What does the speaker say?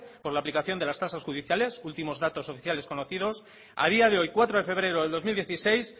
por la aplicación de las tasas judiciales últimos datos oficiales conocidos a día de hoy cuatro de febrero de dos mil dieciséis